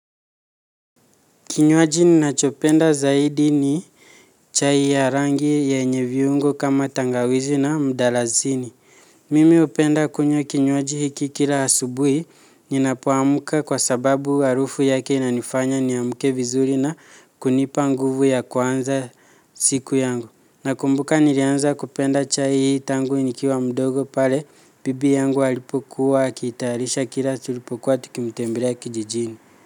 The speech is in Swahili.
Kinywaji ninachopenda zaidi ni chai ya rangi yenye viungo kama tangawizi na mdalazini. Mimi hupenda kunywa kinywaji hiki kila asubuhi ninapoamka kwa sababu harufu yake inanifanya niamke vizuri na kunipa nguvu ya kuanza siku yangu. Nakumbuka nilianza kupenda chai hii tangu nikiwa mdogo pale bibi yangu alipokuwa akitayarisha kila tulipokuwa tukimtembelea kijijini.